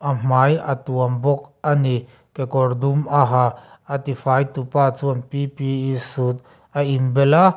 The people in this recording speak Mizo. hmai a tuam bawk ani kekawr dum a ha a tifai tupa chuan p p e suit a inbel a.